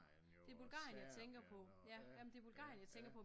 Det er Bulgarien jeg tænker på ja men det Bulgarien jeg tænker på